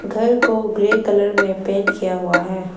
घर को grey colour में पेंट किया हुआ है।